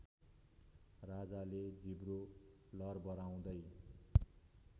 राजाले जिब्रो लर्बराउँदै